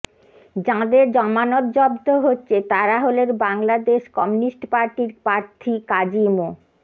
যাঁদের জামানত বাজেয়াপ্ত হচ্ছে তাঁরা হলেন বাংলাদেশ কমিউনিস্ট পার্টির প্রার্থী কাজী মো